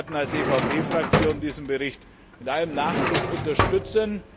Wir werden als EVP Fraktion diesen Bericht mit allem Nachdruck unterstützen.